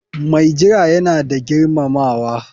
Mai jira yana da girmamawa.